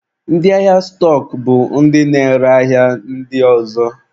Ndị ahịa stọk bụ ndị na-ere ahịa ndị ọzọ.